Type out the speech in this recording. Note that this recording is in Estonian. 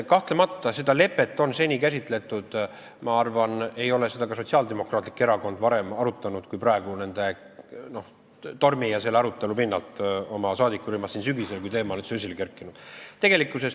Ma arvan, et ka Sotsiaaldemokraatlik Erakond ei ole seda lepet oma saadikurühmas varem arutanud kui praegu, selle tormi ja selle arutelu pinnalt sel sügisel, kui teema oli üldse esile kerkinud.